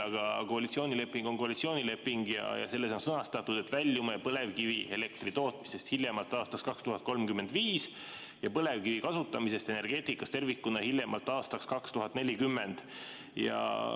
Aga koalitsioonileping on koalitsioonileping ja selles on sõnastatud, et väljume põlevkivielektri tootmisest hiljemalt aastaks 2035 ning põlevkivi kasutamisest energeetikas tervikuna hiljemalt aastaks 2040.